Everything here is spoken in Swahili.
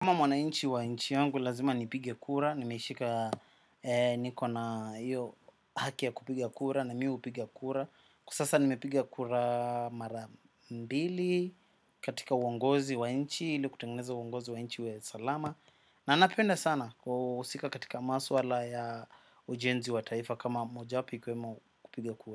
Kama mwanainchi wa inchi yangu lazima nipige kura, nimeishika niko na iyo haki ya kupiga kura na mu upiga kura. Kwa sasa nimepiga kura mara mbili katika uongozi wa inchi, ili kutengeneza uongozi wa inchi uwe salama. Na napenda sana kuusika katika maswala ya ujenzi wa taifa kama mojapi ikiwemo kupiga kura.